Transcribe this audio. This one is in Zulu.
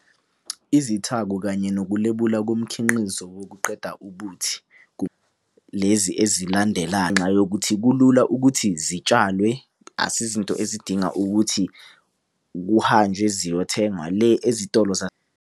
Izithako kanye nokulebula komkhinqizo wokuqeda ubuthi lezi ezilandelayo. Ngenxa yokuthi kulula ukuthi zitshalwe akusizo izinto ezidinga ukuthi kuhanjwe ziyothengwa le ezitolo .